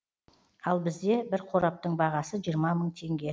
ал бізде бір қораптың бағасы жиырма мың теңге